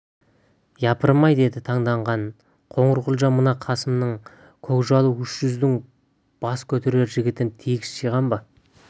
япырмай деді таңданған қоңырқұлжа мына қасымның көкжалы үш жүздің бас көтерер жігітін тегіс жиған ба